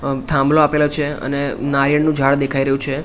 અ થાંબલો આપેલો છે અને નારિયેડનુ ઝાડ દેખાય રહ્યુ છે.